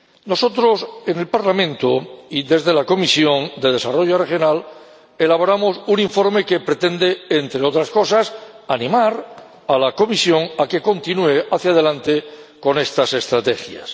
Nosotros, en el Parlamento, y en la Comisión de Desarrollo Regional, elaboramos un informe que pretende, entre otras cosas, animar a la Comisión a que continúe hacia delante con estas estrategias.